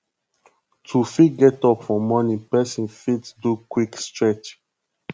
to fit get up for morning person fit do quick stretch